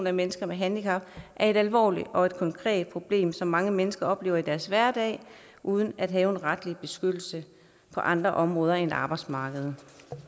af mennesker med handicap er et alvorligt og et konkret problem som mange mennesker oplever i deres hverdag uden at have en retlig beskyttelse på andre områder end arbejdsmarkedet